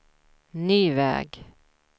ny väg